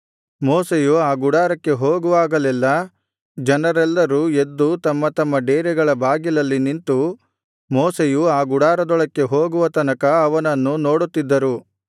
ಮೋಶೆಯು ಆ ಗುಡಾರಕ್ಕೆ ಹೋಗುವಾಗಲೆಲ್ಲಾ ಜನರೆಲ್ಲರೂ ಎದ್ದು ತಮ್ಮ ತಮ್ಮ ಡೇರೆಗಳ ಬಾಗಿಲಲ್ಲಿ ನಿಂತು ಮೋಶೆಯು ಆ ಗುಡಾರದೊಳಕ್ಕೆ ಹೋಗುವ ತನಕ ಅವನನ್ನು ನೋಡುತ್ತಿದ್ದರು